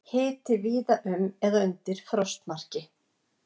Hiti víða um eða undir frostmarki